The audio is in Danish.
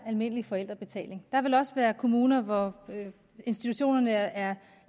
almindelig forældrebetaling der vil også være kommuner hvor institutionerne er